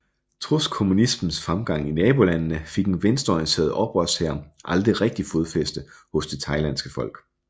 Trods kommunismens fremgang i nabolandene fik en venstreorienteret oprørshær aldrig rigtig fodfæste hos det thailandske folk